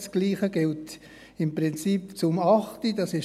Das Gleiche gilt im Prinzip auch für die Planungserklärung 8.